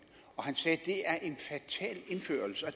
og han sagde det er en fatal indførelse og